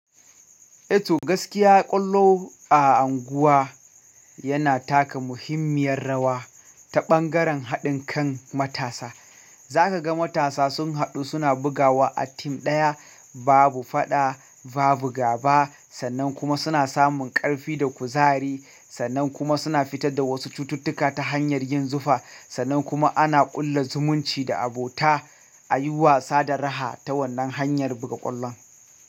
Eto gaskiya ƙwallo a unguwa yana taka muhimmiyar rawa ta ɓangaren haɗin kan matasa. Za ka ga matasa sun haɗu suna bugawa a team ɗaya, babu faɗa, babu gaba sannan kuma suna samun ƙarfi da kuzari sannan kuma suna fitar da wasu cututtuka ta hanyar yin zufa sannan kuma ana ƙulla zumunci da abota a yi wasa da raha ta wannan hanyar buga ƙwallon.